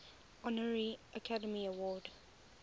honorary academy award